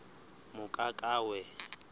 mokakawe